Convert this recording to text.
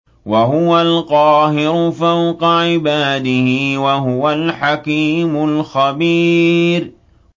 وَهُوَ الْقَاهِرُ فَوْقَ عِبَادِهِ ۚ وَهُوَ الْحَكِيمُ الْخَبِيرُ